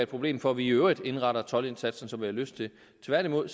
problem for at vi i øvrigt indretter toldindsatsen som vi har lyst til tværtimod